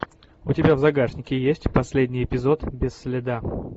у тебя в загашнике есть последний эпизод без следа